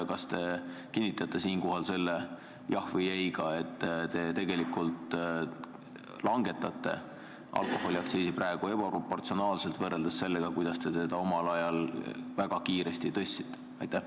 Kas te kinnitate siinkohal seda, et te tegelikult langetate alkoholiaktsiisi praegu ebaproportsionaalselt võrreldes sellega, kuidas te seda omal ajal väga kiiresti tõstsite?